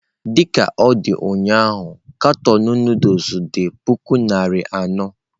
Dị ka ọ dị ụnyahụ katọn Nụdụls dị puku naira anọ.